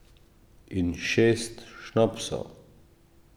In šest šnopsov.